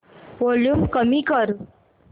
volume कमी कर